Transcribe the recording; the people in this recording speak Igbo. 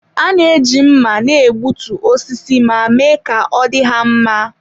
A na-eji mma na-egbutu osisi ma mee ka ọ dị ha mma.